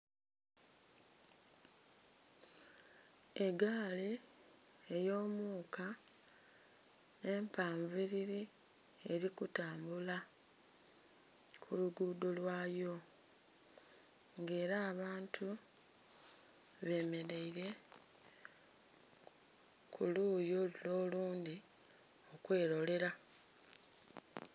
Egaali eyomuka, empanviriri eri kutambula, ku luguudho lwayo. Nga era abantu bemeraire ku luyi lule olundhi kwerolera.